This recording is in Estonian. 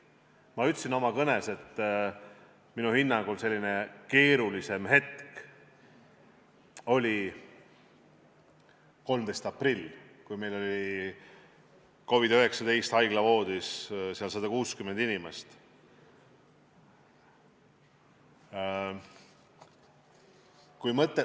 Ma ütlesin oma kõnes, et minu hinnangul oli üks keerulisemaid hetki 13. aprillil, kui COVID-19 tõttu oli haiglavoodis 166 inimest.